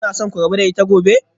Kuna so ku rabu da ita gobe?